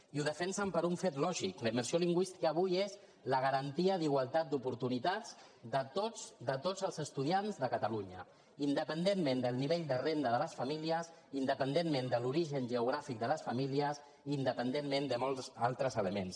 i ho defensen per un fet lògic la immersió lingüística avui és la garantia d’igualtat d’oportunitats de tots els estudiants de catalunya independentment del nivell de renda de les famílies independentment de l’origen geogràfic de les famílies i independentment de molts altres elements